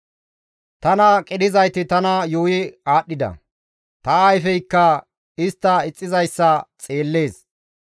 Tana qidhizayti tana yuuyi aadhdhida; ta ayfeykka istti ixxizayssa xeellees.